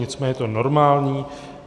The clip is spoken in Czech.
Nicméně je to normální.